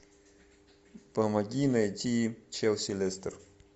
помоги найти челси лестер